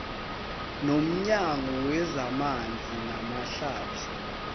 nomnyango wezamanzi namahlathi